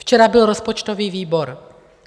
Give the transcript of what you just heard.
Včera byl rozpočtový výbor.